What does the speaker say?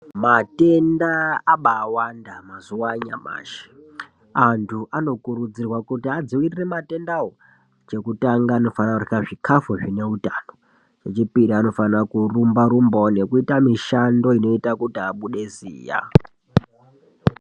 Matenda abaawanda mazuva anyamashi, antu anokurudzirwa kuti adziirire matendawo. Chekutanga anofana kurya zvikafu zvine utano, chechipiri anofana kurumba-rumbawo nekuita mishando inoita kuti abude ziya.